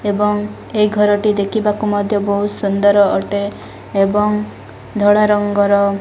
ଏବଂ ଏ ଘର ଟି ଦେଖିବାକୁ ମଧ୍ୟ ବହୁତ ସୁନ୍ଦର ଅଟେ ଏବଂ ଧଳା ରଙ୍ଗର --